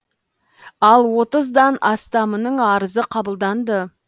ал отыздан астамының арызы қабылданды